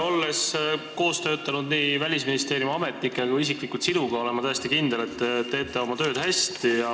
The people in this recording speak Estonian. Olles koos töötanud nii Välisministeeriumi ametnike kui ka isiklikult sinuga, olen ma kindel, et te teete oma tööd hästi.